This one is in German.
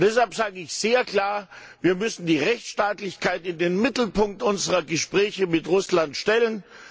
Deshalb sage ich sehr klar Wir müssen die Rechtsstaatlichkeit in den Mittelpunkt unserer Gespräche mit Russland stellen.